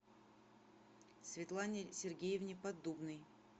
светлане сергеевне поддубной